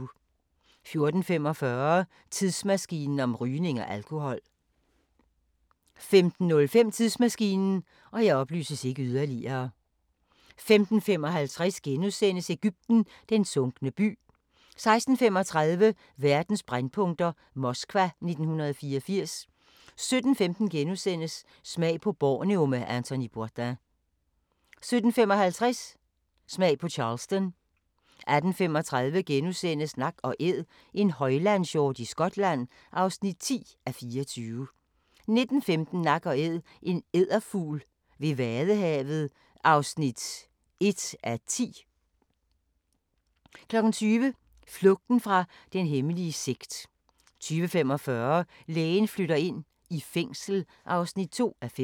14:45: Tidsmaskinen om rygning og alkohol 15:05: Tidsmaskinen 15:55: Egypten – den sunkne by * 16:35: Verdens brændpunkter: Moskva 1984 17:15: Smag på Borneo med Anthony Bourdain * 17:55: Smag på Charleston 18:35: Nak & Æd – en højlandshjort i Skotland (10:24)* 19:15: Nak & Æd – en edderfugl ved vadehavet (1:10) 20:00: Flugten fra den hemmelige sekt 20:45: Lægen flytter ind – i fængsel (2:5)